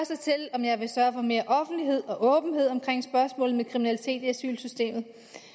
om jeg vil sørge for mere offentlighed og åbenhed omkring spørgsmålet om kriminalitet i asylsystemet